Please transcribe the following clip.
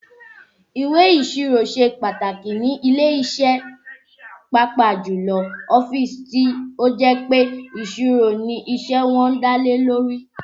Ìwé ìsirò ṣe pàtàkì nílé iṣẹ́ pàápàá jù lọ ọ́fíìsì tí ó jẹ́ pé ìṣirò ni iṣẹ́ wọn dá lórí